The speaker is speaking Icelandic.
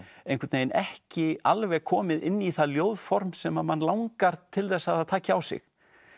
einhvern veginn ekki alveg komið inn í það ljóðform sem að mann langar til þess að það taki á sig